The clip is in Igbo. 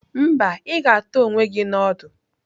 Mba, ị ga-ata onwe gị na ọdụ.